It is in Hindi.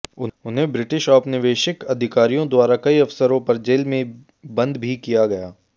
उन्हें ब्रिटिश औपनिवेशिक अधिकारियों द्वारा कई अवसरों पर जेल में बंद भी किया गया